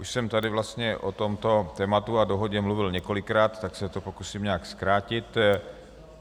Už jsem tady vlastně o tomto tématu a dohodě mluvil několikrát, tak se to pokusím nějak zkrátit.